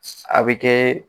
A bɛ kɛ.